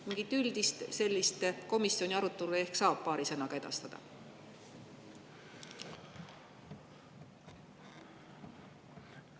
Mingit üldist komisjoni arutelu ehk saab paari sõnaga edastada?